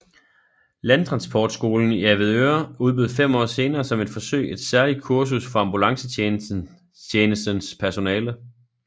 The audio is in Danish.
Landtransportskolen i Avedøre udbød fem år senere som et forsøg et særligt kursus for ambulancetjenestens personale